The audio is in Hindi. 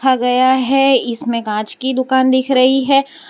गया है इसमें कांच की दुकान दिख रही है।